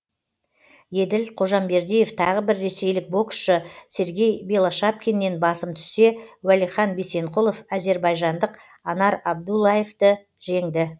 еділ қожамбердиев тағы бір ресейлік боксшы сергей белошапкиннен басым түссе уәлихан бисенқұлов әзірбайжандық анар абуллаевты жеңді